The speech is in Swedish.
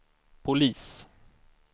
polis